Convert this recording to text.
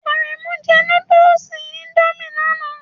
Aremu jẹ nudulu Indomie lana